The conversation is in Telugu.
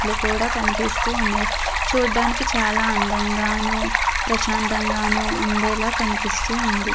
చెట్లు కూడా కనిపిస్తూ ఉన్నది. చూడడానికి చాలా అందంగాను ప్రశాంతంగానూ ఉండేలా కనిపిస్తుంది.